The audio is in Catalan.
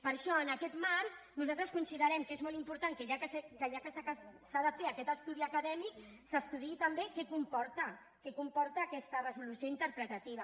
per això en aquest marc nosaltres considerem que és molt important que ja que s’ha de fer aquest estudi acadèmic s’estudiï també què comporta què comporta aquesta resolució interpretativa